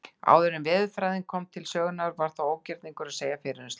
Áður en veðurfræðin kom til sögunnar var ógerningur að segja fyrir um slíkt.